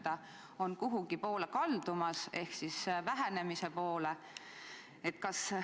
Kas see tendents on kuhugi poole kaldumas, ehk vähenemise poole?